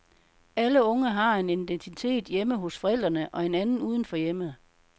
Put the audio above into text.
Alle unge har en identitet hjemme hos forældrene og en anden uden for hjemmet.